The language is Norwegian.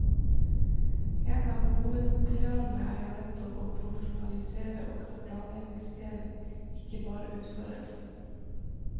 En av hovedpilarene er jo nettopp å profesjonalisere også planleggingsdelen, ikke bare utførelsen.